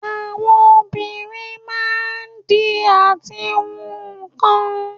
Àwọn obìnrin máa ń di àti hun nkan